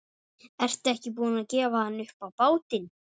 Ertu ekki búin að gefa hann upp á bátinn?